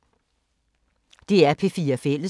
DR P4 Fælles